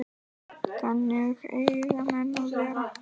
Þannig eiga menn að vera.